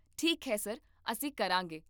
ਠੀਕ ਹੈ ਸਰ, ਅਸੀਂ ਕਰਾਂਗੇ